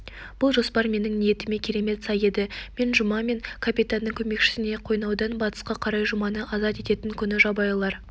бұл жоспар менің ниетіме керемет сай еді мен жұма мен капитанның көмекшісіне қойнаудан батысқа қарай жұманы азат ететін күні жабайылар